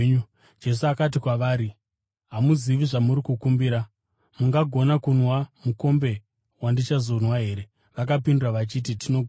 Jesu akati, kwavari, “Hamuzivi zvamuri kukumbira. Mungagona kunwa mukombe wandichazonwa here?” Vakapindura vachiti, “Tinogona.”